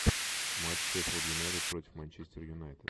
матч шеффилд юнайтед против манчестер юнайтед